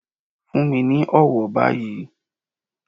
Fún mi ní ọ̀wọ̀ báyìí.